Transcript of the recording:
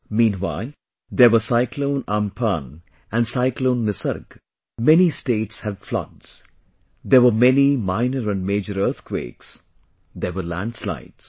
Meanwhile, there were cyclone Amphan and cyclone Nisarg...many states had floods...there were many minor and major earthquakes; there were landslides